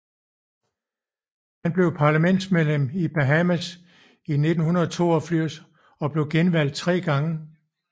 Han blev parlamentsmedlem i Bahamas i 1982 og blev genvalgt tre gange